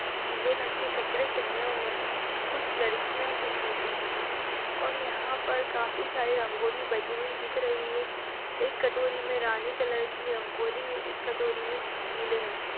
नीले रंग के कपडे पहने हुए है कुछ लडकिया दिख रही है और यहाँ पर काफी सारे रगोली बनी हुई दिख रही है एक कटोरी मे रानी कलर की रगोली है एक कटोरी मे स पीले रंग की--